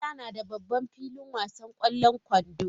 Makaranta na da babban filin wasan kwallon kwando.